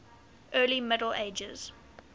early middle ages